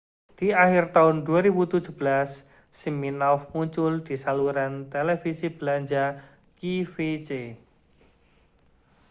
di akhir tahun 2017 siminoff muncul di saluran televisi belanja qvc